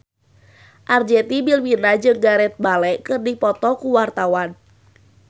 Arzetti Bilbina jeung Gareth Bale keur dipoto ku wartawan